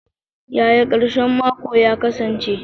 Yaya karshen mako ya kasance?